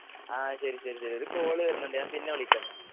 ആഹ് ശരി ശരി ഒരു കോളുവരുന്നുണ്ട് ഞാൻ പിന്നെവിളിക്കാന്നാല്